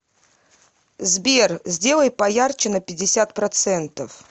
сбер сделай поярче на пятьдесят процентов